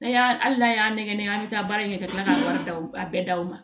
N'a y'a hali n'a y'a nɛgɛnɛgɛ an bɛ taa baara kɛ ka kila ka wari d'a bɛɛ daw ma